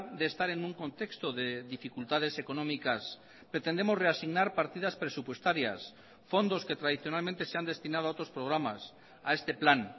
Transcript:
de estar en un contexto de dificultades económicas pretendemos reasignar partidas presupuestarias fondos que tradicionalmente se han destinado a otros programas a este plan